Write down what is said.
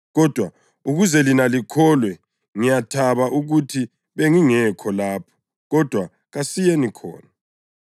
kodwa ukuze lina likholwe, ngiyathaba ukuthi bengingekho lapho. Kodwa kasiyeni khona.”